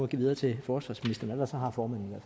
give videre til forsvarsministeren ellers har formanden